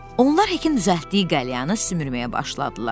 Onlar Hekin düzəltdiyi qəlyanı sümürməyə başladılar.